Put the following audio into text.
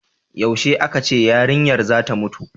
yaushe a ka ce yarinyar zata mutu